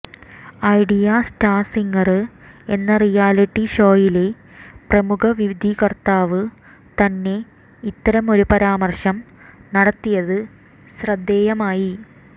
idea Star Singer എന്ന reality ഷോയിലെ പ്രമുഖ വിധികര്ത്താവ് തന്നെ ഇത്തരം ഒരു പരാമര്ശം നടത്തിയത് ശ്രദ്ധേയമായി